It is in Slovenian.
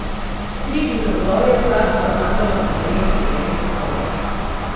Kri in drobovje sta zamazala kraljeve svilene preproge.